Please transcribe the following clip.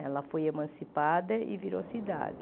Ela foi emancipada e virou cidade.